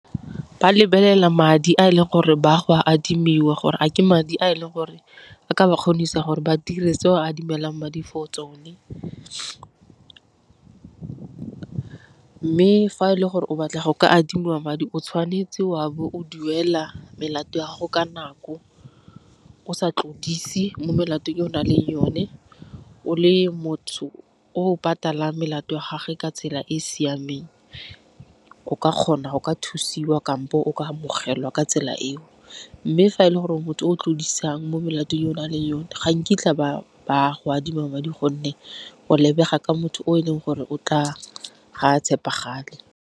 Ba lebelela madi a e leng gore ba go a admiwa gore a ke madi a e leng gore a ka ba kgonisa gore ba dire tse o a adimileng madi for tsone, mme fa e le gore o batla go ka adimiwa madi o tshwanetse o a bo o duela melato ya gago ka nako. O sa tlodise mo melatong e o nang le yone, o le motho o patala melato ya gagwe ka tsela e e siameng. O ka kgona go ka thusiwa kampo o ka amogelwa ka tsela eo, mme fa e le gore o motho o tlodisano mo molatong e o nang le yone ga nkitla ba go adima madi gonne o lebega ka motho o e leng gore ga tshepagale.